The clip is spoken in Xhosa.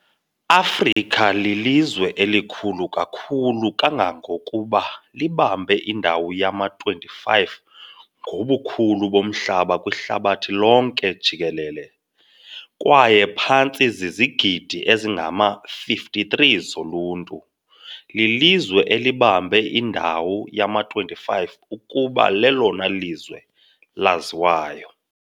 Afrika lilizwe elikhulu kakhulu kangangokuba libambe indawo yama-25 ngobukhulu bomhlaba kwihlabathi lonke jikelele, kwaye phantse zizigidi ezingama-53 zoluntu, lilizwe elibambe indawo yama-25 ukuba lelona lizwe laziwayo.